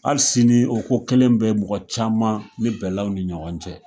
Ali sini o ko kelen be mɔgɔ caman ni bɛɛlaw ni ɲɔgɔn cɛ